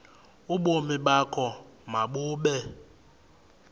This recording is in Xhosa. ubomi bakho mabube